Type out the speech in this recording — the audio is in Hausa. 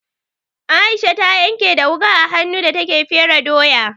Aisha ta yanke da wuƙa a hannu da take fere doya.